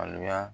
Alo ya